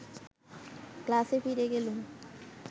ক্লাসে ফিরে গেলুম